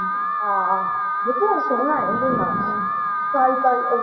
ਹਾਂ, ਦੇਖਿਆ ਤਾ ਸੋਹਣਾ ਐ ਉਹਦੇ ਨਾਲੋਂ ਆਹ ਸਾਰਿਕਾ ਸਾਰਿਕਾ